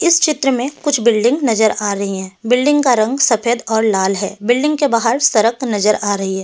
इस चित्र में कुछ बिल्डिंग नजर आ रही है बिल्डिंग का रंग सफेद और लाल है बिल्डिंग के बाहर सड़क नजर आ रही है।